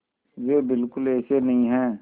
वे बिल्कुल ऐसे नहीं हैं